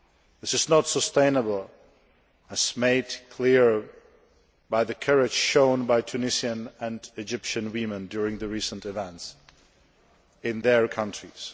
This is not sustainable, as was made clear by the courage shown by Tunisian and Egyptian women during the recent events in their countries.